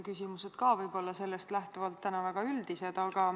Küsimused on võib-olla ka sellest lähtuvalt täna väga üldised.